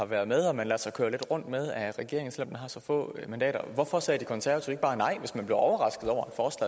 være ved og man lader sig køre rundt med af regeringen selv om den har så få mandater hvorfor sagde de konservative ikke bare nej hvis man blev overrasket over